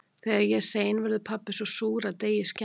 Þegar ég er sein verður pabbi svo súr að deigið skemmist.